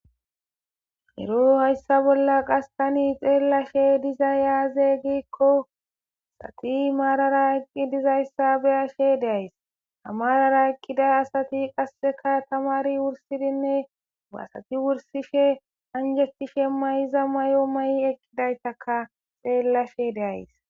Ero haysa bollaka asat tseellashe diyay aze gikko asati maarara eqqida issi be'ashe de'ays. Ha maarara eqqida asati qassika tamaari wursidinne, asati wursishe anjettishe mayza mayo mayi eqqida izaka tseellashe da'ays.